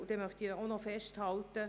Zudem möchte ich festhalten: